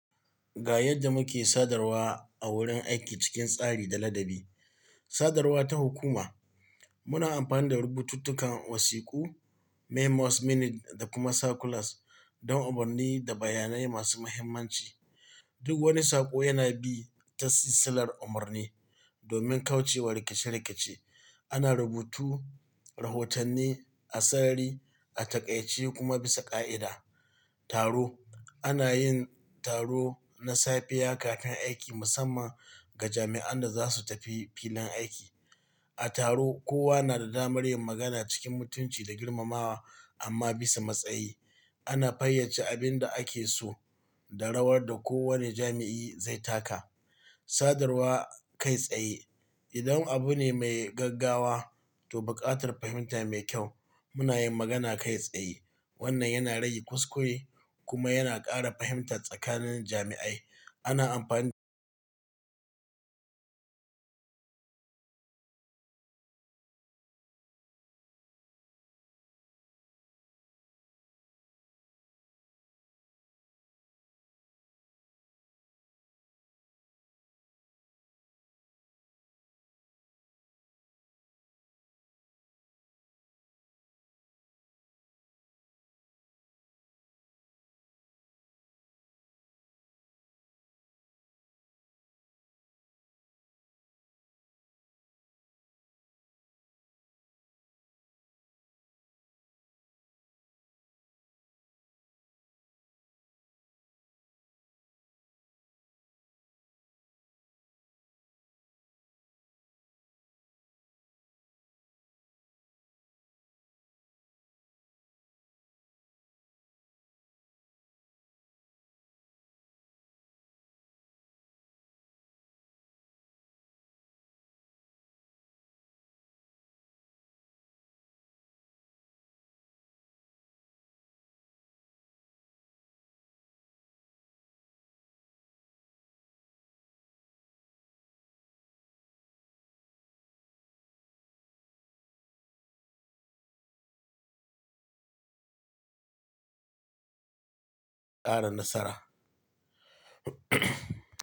Ga yadda muke sadarwa a wurin aiki cikin tsari da ladabi. Sadarwa ta hukuma. Muna amfani da rubututtukan wasiƙu, memos, minute da kuma circulars don umurni da bayanai masu muhimmanci. Duk wani saƙo yana bi ta silsilar umarni domin kauce wa rikice-rikice. Ana rubutu, rahotanni, asari a taƙaice kuma bisa ƙa'ida. Taro. Ana yin taro na safiya kakan aiki musamman ga jami'an da za su tafi filin aiki. A taro, kowa na da damar yin magana cikin mutunci da girmamawa amma bisa matsayi. Ana fayace abin da ake so da rawar da kowane jami'i zai taka. Sadarwa kai tsaye. Idan abu ne mai gaggawa to buƙatar fahimta mai kyau, muna yin magana kai tsaye. Wannan yana rage kuskure kuma yana ƙara fahimta tsakanin jami'ai. Ana amfani.